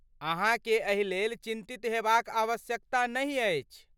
अहाँकेँ एहि लेल चिन्तित हेबाक आवश्यकता नहि अछि।